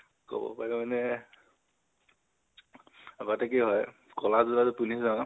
কব পাৰি মানে, আগতে কি হয়, কʼলা জোতাযোৰ পিন্ধি যাও